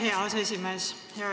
Aitäh, hea aseesimees!